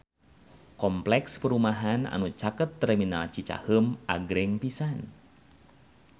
Kompleks perumahan anu caket Terminal Cicaheum agreng pisan